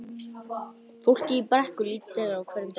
Fólkið í Brekku lítur til þeirra á hverjum degi.